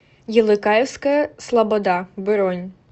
елыкаевская слобода бронь